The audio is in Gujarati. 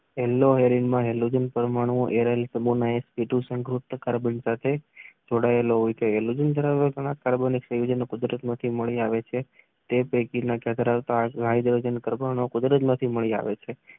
એર્લપરમાનું સંકૃત કાર્બન માં જોડાયેલા હોય છે. એલ્યુમિનયમ કાર્બન માં સંયુક્ત મળી આવે છે જે પૈકી ના આયોજન કરવામાં મળી આવ્યા છે.